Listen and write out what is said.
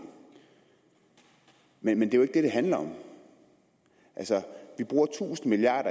men det er jo ikke det det handler om vi bruger tusind milliard